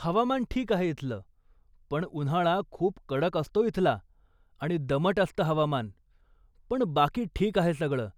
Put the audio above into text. हवामान ठीक आहे इथलं, पण उन्हाळा खूप कडक असतो इथला आणि दमट असतं हवामान, पण बाकी ठीक आहे सगळं,